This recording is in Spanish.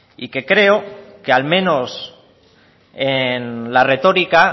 y que creo que al menos en la retórica